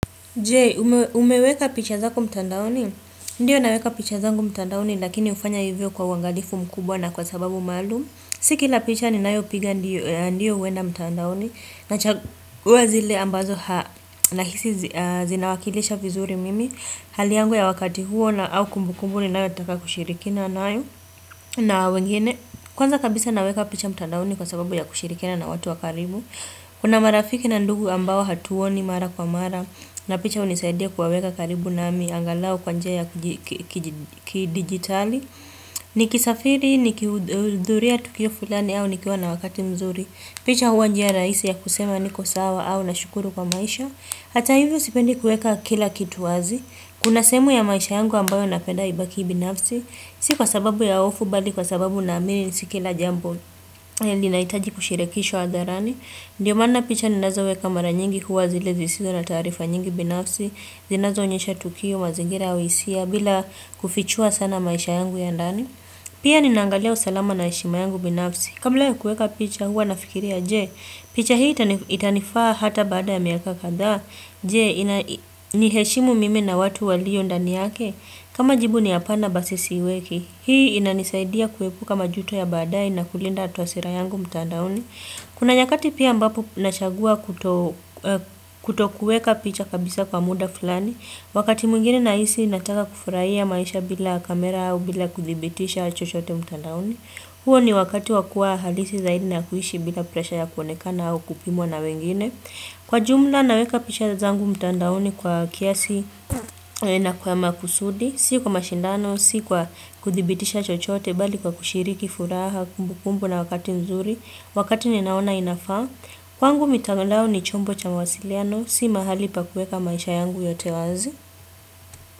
Je, umeweka picha zako mtandaoni? Ndiyo naweka picha zangu mtandaoni lakini ufanya hivyo kwa uangalifu mkubwa na kwa sababu maalum. Si kila picha ninayo piga ndiyo huenda mtandaoni. Nachaguwa zile ambazo nahisi zinawakilisha vizuri mimi. Hali yangu ya wakati huo na au kumbukumbu ninayo taka kushirikiana nayo na wengine. Kwanza kabisa naweka picha mtandaoni kwa sababu ya kushirikina na watu wakaribu. Kuna marafiki na ndugu ambao hatuoni mara kwa mara. Na picha unisaidia kuwaweka karibu nami angalau kwa njia ya kidigitali Nikisafiri nikidhuria tukio fulani au nikiwa na wakati mzuri picha huwa njia raisi ya kusema niko sawa au nashukuru kwa maisha Hata hivyo sipendi kuweka kila kitu wazi Kuna semu ya maisha yangu ambayo napeda ibaki binafsi Si kwa sababu ya hofu bali kwa sababu naamini nisikila jambo Ndiyo maana picha zinazowekwa mara nyingi huwa zile zisizo na taarifa nyingi binafsi, zinazo onyesha tukio, mazingira, hisia, bila kufichua sana maisha yangu ya ndani. Pia ninaangalia usalama na heshima yangu binafsi. Kabla ya kuweka picha huwa nafikiria, je, picha hii itanifaa hata baada ya miaka kadha. Je, niheshimu mimi na watu walio ndani yake. Kama jibu ni apana basi weki. Hii inanisaidia kuepuka majuto ya baadaye na kulinda twasira yangu mtandaoni. Kuna nyakati pia ambapo nachagua kutokueka picha kabisa kwa muda fulani, wakati mwingine nahisi nataka kufurahia maisha bila kamera au bila kuthibitisha chochote mtandaoni. Huo ni wakati wakuwa halisi zaidi na kuishi bila presha ya kuonekana au kupimwa na wengine. Kwa jumla naweka picha zangu mtandaoni naweka kwa kiasi na kwa makusudi, si kwa mashindano, si kwa kuthibitisha chochote, bali kwa kushiriki furaha kumbukumbu na wakati nzuri. Wakati ninaona inafaa, kwangu mitandao ni chombo cha mawasiliano, si mahali pa kuweka maisha yangu yote wanzi.